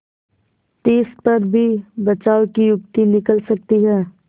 तिस पर भी बचाव की युक्ति निकल सकती है